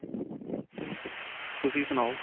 ਤੁਸੀਂ ਸੁਨਾਓ